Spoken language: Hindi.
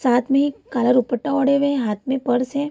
साथ में एक काला दुपट्टा ओढ़े हुए है हाथ में पर्श है।